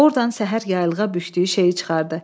Ordan səhər yaylığa bükdüyü şeyi çıxardı.